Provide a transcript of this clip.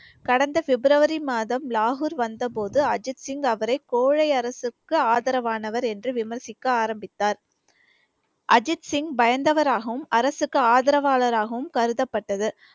கடந்த பிப்ரவரி மதம் லாஹூர் வந்த போது அஜித் சிங் அவரை கோழை அரசுக்கு ஆதரவானவர் என்று விமர்சிக்க ஆரம்பித்தார் அஜித் சிங் பயந்தவராகவும் அரசுக்கு ஆதரவாளராகவும் கருதப்பட்டது